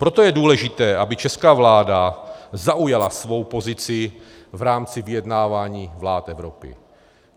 Proto je důležité, aby česká vláda zaujala svou pozici v rámci vyjednávání vlád Evropy.